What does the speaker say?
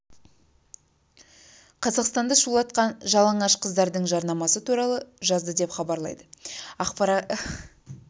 қазақстанды шулатқан жалаңаш қыздардың жарнамасы туралы жазды деп хабарлайды ақпарат агенттігі жазуынша бейнеклипті қолданушылары мыңнан астам